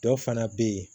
Dɔ fana bɛ yen